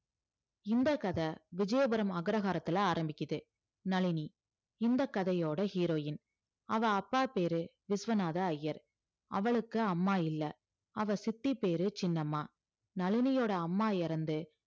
இந்த கதை விஜயபுரம் அக்ரஹாரத்துல ஆரம்பிக்குது நளினி இந்த கதையோட heroine அவ அப்பா பேரு விஸ்வநாத ஐயர் அவளுக்கு அம்மா இல்ல அவ சித்தி பேரு சின்னம்மா நளினியோட அம்மா இறந்து